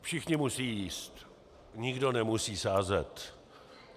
Všichni musí jíst, nikdo nemusí sázet.